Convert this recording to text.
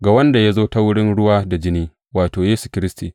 Ga wanda ya zo ta wurin ruwa da jini, wato, Yesu Kiristi.